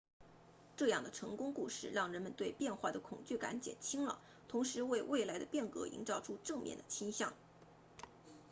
这样的成功故事让人们对变化的恐惧感减轻了同时为未来的变革营造出正面的倾向